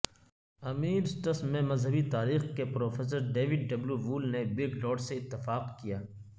امیرسٹس میں مذہبی تاریخ کے پروفیسر ڈیوڈ ڈبلیو وول نے برگرارڈ سے اتفاق کیا